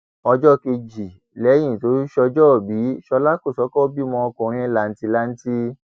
ọjọ kejì lẹyìn tó ṣọjọọbì ṣọlá kòsókó bímọ ọkùnrin làǹtìlanti